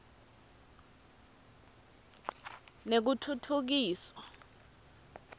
nekutfutfukiswa